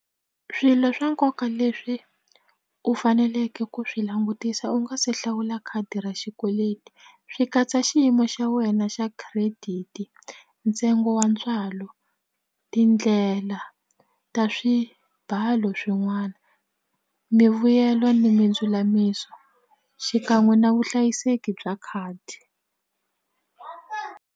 Swilo swa nkoka leswi u faneleke ku swi langutisa u nga se hlawula khadi ra xikweleti swi katsa xiyimo xa wena xa credit, ntsengo wa ntswalo, tindlela ta swibalo swin'wana mivuyelo ni mindzulamiso xikan'we na vuhlayiseki bya khadi.